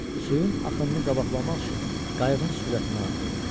Suyun axınını qabaqlamaq üçün qayığın sürətini artırdı.